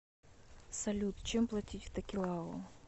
салют чем платить в токелау